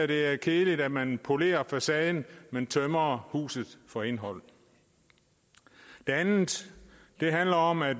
det er kedeligt at man polerer facaden men tømmer huset for indhold det andet handler om at